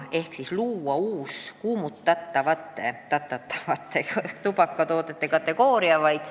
Selle sisu ei ole, et loome uue, kuumutatavate tubakatoodete kategooria.